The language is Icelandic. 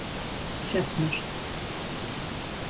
Sjafnar